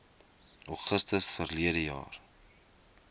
augustus verlede jaar